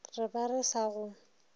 re ba re sa go